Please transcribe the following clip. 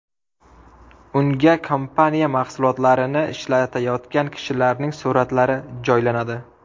Unga kompaniya mahsulotlarini ishlatayotgan kishilarning suratlari joylanadi.